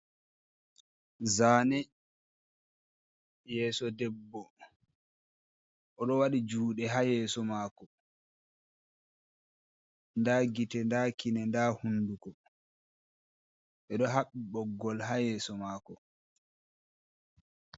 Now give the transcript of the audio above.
Zaane yeso debbo o do wadi jude ha yeso mako, nda gite nda kine nda hunduko be do haɓɓi boggol ha yeso mako.